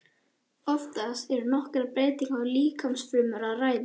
Oftast er um nokkrar breytingar í líkamsfrumum að ræða.